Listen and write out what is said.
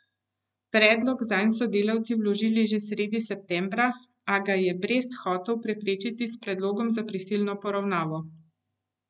Predlog zanj so delavci vložili že sredi septembra, a ga je Brest hotel preprečiti s predlogom za prisilno poravnavo.